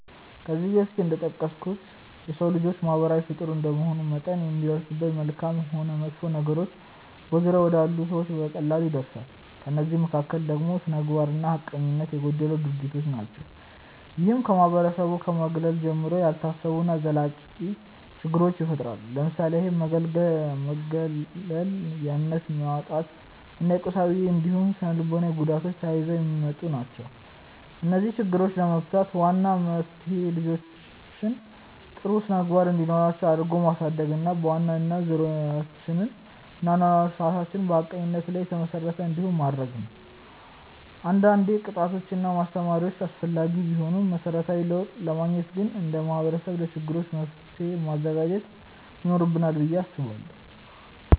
ከዚህ በፊት እንደጠቀስኩት የሰው ልጅ ማህበራዊ ፍጡር እንደመሆኑ መጠን የሚደርስበት መልካምም ሆን መጥፎ ነገሮች በዙሪያው ወዳሉ ሰዎች በቀላሉ ይዳረሳል። ከእነዚህ መካከል ደግሞ ስነምግባር እና ሀቀኝነት የጎደላቸው ድርጊቶች ናቸው። ይህም ከማህበረሰቡ ከማግለል ጀምሮ፣ ያልታሰቡ እና ዘላቂ ችግሮችን ይፈጥራል። ለምሳሌ ያህል መገለል፣ የእምነት ማጣት እና የቁሳዊ እንዲሁም ስነልቦናዊ ጉዳቶች ተያይዘው የሚመጡ ናቸው። እነዚህን ችግሮች ለመፍታት ዋናው መፍትሄ ልጆችን ጥሩ ስነምግባር እንዲኖራቸው አድርጎ ማሳደግ እና በዋናነት ዙሪያችንን እና የአኗኗር ስርዓታችንን በሀቀኝነት ላይ የተመሰረተ እንዲሆን ማድረግ ነው። አንዳንዴ ቅጣቶች እና ማስተማሪያዎች አስፈላጊ ቢሆኑም መሰረታዊ ለውጥ ለማግኘት ግን እንደ ማህበረሰብ ለችግሮቻችን መፍትሔ ማዘጋጀት ይኖርብናል ብዬ አስባለሁ።